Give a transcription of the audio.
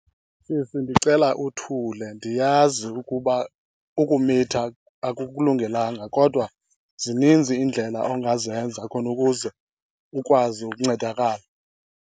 Sisi, ndicela uthule. Ndiyazi ukuba ukumitha akukulungelanga kodwa zininzi iindlela ongazenza khona ukuze ukwazi ukuncedakala.